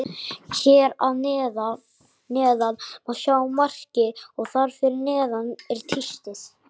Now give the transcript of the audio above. Hér að neðan má sjá markið og þar fyrir neðan er tístið.